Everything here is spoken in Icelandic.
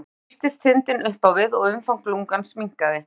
Við þetta þrýstist þindin upp á við og umfang lungans minnkaði.